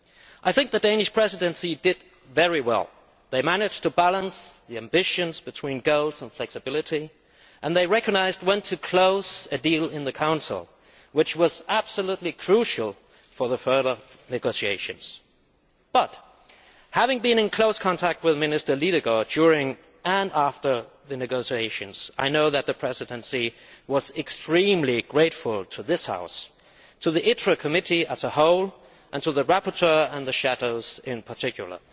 I think the Danish Presidency did very well. It managed to balance ambitions between goals and flexibility and recognised when to close a deal in the Council, which was absolutely crucial for further negotiations. Having been in close contact with Minister Lidegaard during and after the negotiations, I know that the Presidency was extremely grateful to this House to the Committee on Industry, Trade and Energy as a whole and to the rapporteur and the shadows in particular.